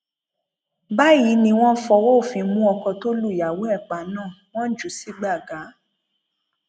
báyìí ni wọn fọwọ òfin mú ọkọ tó lùyàwó ẹ pa náà wọn jù ú sí gbàgà